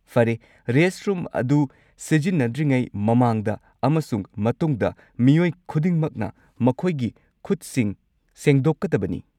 ꯐꯔꯦ! ꯔꯦꯁꯠꯔꯨꯝ ꯑꯗꯨ ꯁꯤꯖꯤꯟꯅꯗ꯭ꯔꯤꯉꯩ ꯃꯃꯥꯡꯗ ꯑꯃꯁꯨꯡ ꯃꯇꯨꯡꯗ, ꯃꯤꯑꯣꯏ ꯈꯨꯗꯤꯡꯃꯛꯅ ꯃꯈꯣꯏꯒꯤ ꯈꯨꯠꯁꯤꯡ ꯁꯦꯡꯗꯣꯛꯀꯗꯕꯅꯤ꯫